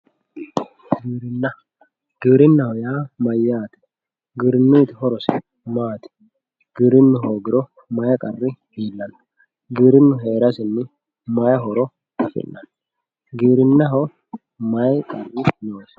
giwirinna giwirinnaho yaa mayaate giwirinnuyiiti horosi maati giwirinnu hoogiro may qarri illanno giwirinnu heerasinni may horo afi'nanni giwirinnaho may qarri noosi